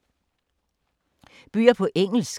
Bøger på engelsk